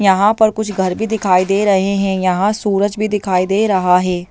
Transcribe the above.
यहाँ पर कुछ घर भी दिखाई दे रहे हैं यहाँ सूरज भी दिखाई दे रहा है।